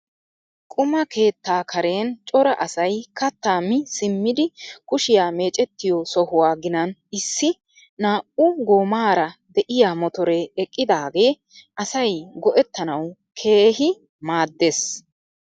Quma keettaa karen cora asay kattaa mi simmidi kushshiyaa mecettiyoo sohuwaa ginan issi naa"u goomara de'iyaa motoree eqqidagee asay go"ettanawu keehi maaddees!